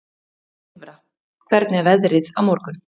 Silfra, hvernig er veðrið á morgun?